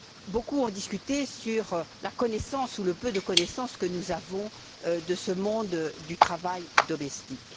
Beaucoup ont discuté sur la connaissance ou le peu de connaissances que nous avons de ce monde du travail domestique.